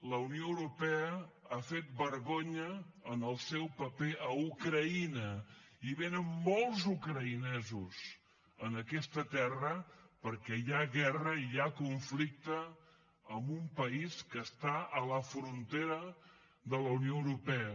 la unió europea ha fet vergonya en el seu paper a ucraïna i vénen molts ucraïnesos a aquesta terra perquè hi ha guerra i hi ha conflicte amb un país que està a la frontera de la unió europea